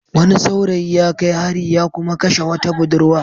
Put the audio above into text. Wani saurayi ya kai hari ya kuma kashe wata budurwa.